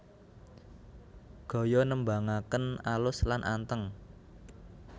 Gaya nembangaken alus lan anteng